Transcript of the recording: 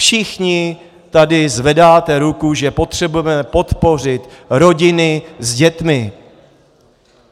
Všichni tady zvedáte ruku, že potřebujeme podpořit rodiny s dětmi.